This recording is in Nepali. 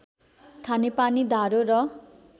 खानेपानी धारो र